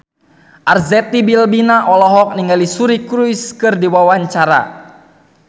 Arzetti Bilbina olohok ningali Suri Cruise keur diwawancara